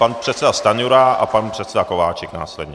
Pan předseda Stanjura a pan předseda Kováčik následně.